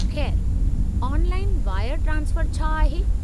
खै़रु, online wire transfer छा आहे?